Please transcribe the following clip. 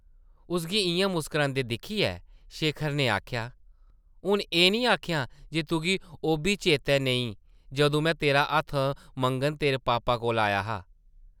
उसगी इʼयां मुस्करांदे दिक्खियै शेखर नै आखेआ, ‘‘हून एह् निं आखेआं जे तुगी ओʼब्बी चेतै नेईं जदूं में तेरा हत्थ मंगन तेरे पापा कोल आया हा ।’’